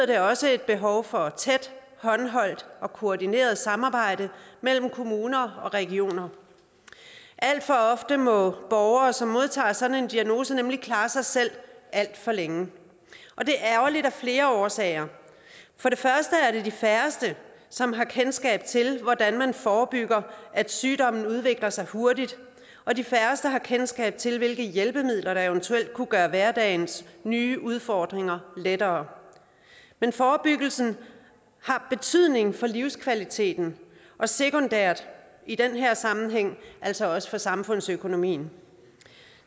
det også et behov for tæt håndholdt og koordineret samarbejde mellem kommuner og regioner alt for ofte må borgere som modtager sådan en diagnose nemlig klare sig selv alt for længe og det er ærgerligt af flere årsager det er de færreste som har kendskab til hvordan man forebygger at sygdommen udvikler sig hurtigt og de færreste har kendskab til hvilke hjælpemidler der eventuelt kunne gøre hverdagens nye udfordringer mindre men forebyggelsen har betydning for livskvaliteten og sekundært i den her sammenhæng altså også for samfundsøkonomien